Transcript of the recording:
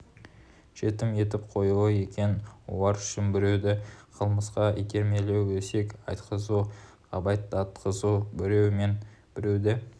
жетім етіп қоюы екен олар үшін біреуді қылмысқа итермелеу өсек айтқызу ғайбаттатқызу біреу мен біреуді